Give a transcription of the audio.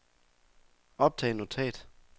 optag notat